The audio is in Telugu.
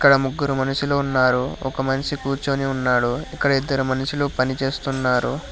అక్కడ ముగ్గురు మనుషులు ఉన్నారు ఒక మనిషి కూర్చొని ఉన్నాడు ఇక్కడ ఇద్దరు మనుషులు పని చేస్తున్నారు.